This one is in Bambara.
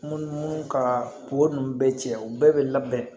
Munumunu kaa ko ninnu bɛɛ cɛ u bɛɛ bɛ labɛn